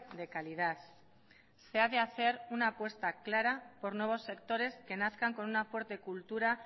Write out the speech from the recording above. de calidad se ha de hacer una apuesta clara por nuevos sectores que nazcan con una fuerte cultura